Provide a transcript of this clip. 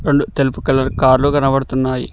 రొండు తెలుపు కలర్ కార్లు కనబడుతున్నాయి.